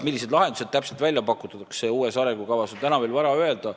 Millised lahendused täpselt uues arengukavas välja pakutakse, seda on täna veel vara öelda.